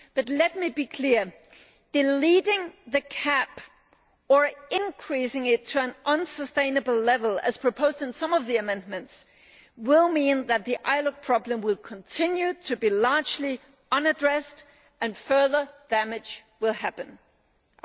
But let me be clear. Deleting the cap or increasing it to an unsustainable level, as proposed in some of the amendments, will mean that the ILUC problem will continue to be largely unaddressed and further damage will take place.